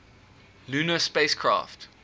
lunar spacecraft